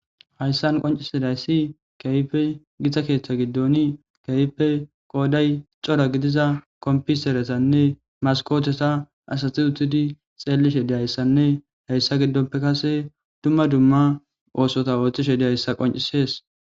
hayssan qoncisidayssi keype githa keeththa giddoni keype qooday cora gidiza kompiseretanne maskoteta asati utudi xeellishe diyayssanne hayssa giddonpe kase dumma dumma oosota ooththishe diyayssa qoncisees